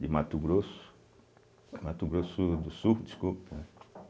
de Mato Grosso, Mato Grosso do Sul, desculpa, né.